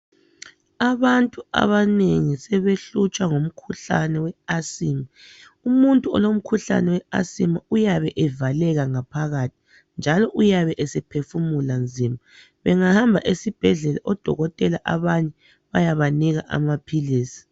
Abantu abanengi sebehlutshwa ngumkhuhlane we Asima. Umuntu olomkhuhlane we asima uyabe evaleka ngaphakathi njalo uyabe seohefumula nzima abengahamba esibhedlela odokotela abanye bayabanika amaphili.